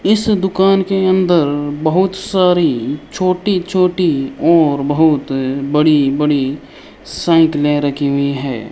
इस दुकान के अंदर बहोत सारी छोटी छोटी और बहोत बड़ी बड़ी साइकिले रखी हुई है।